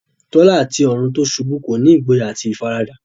Tola àti ọ̀run tí ó ṣubú kọ́ni ní ìgboyà àti ìfaradà